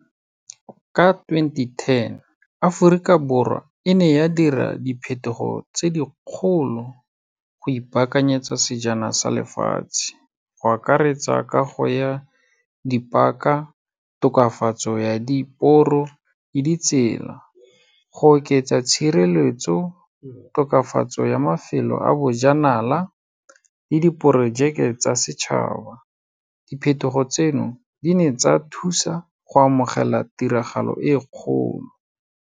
Ka twenty-ten, Aforika Borwa e ne ya dira diphetogo tse di kgolo go ipakanyetsa Sejana sa Lefatshe go akaretsa, kago ya di-park-a, tokafatso ya diporo le ditsela, go oketsa tshireletso, tokafatso ya mafelo a bojanala le diporojeke tsa setšhaba. Diphetogo tseno, di ne tsa thusa go amogela tiragalo e kgolo.